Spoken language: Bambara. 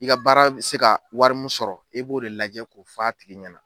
I ka baara bɛ se ka wari mun sɔrɔ e b'o de lajɛ k'o f'a tigi ɲɛna.